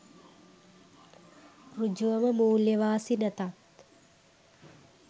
සෘජුවම මූල්‍ය වාසි නැතත්